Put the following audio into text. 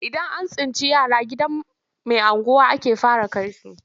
Idan an tsinci yara gidan mai unguwa ake fara kai su,